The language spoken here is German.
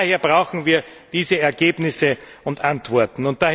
Daher brauchen wir diese Ergebnisse und Antworten.